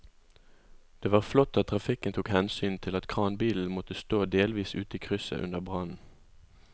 Det var flott at trafikken tok hensyn til at kranbilen måtte stå delvis ute i krysset under brannen.